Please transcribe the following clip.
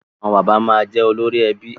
Àwọn bàbá máa jẹ olórí ẹbí